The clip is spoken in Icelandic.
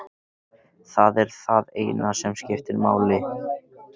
Það er það eina sem skiptir máli.